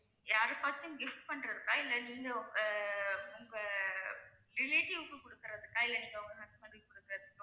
யாருக்காச்சும் gift பண்றதுக்கா இல்லை நீங்க அஹ் உங்க relative க்கு குடுக்கறதுக்கா இல்லை நீங்க உங்க husband க்கு குடுக்கறதுக்~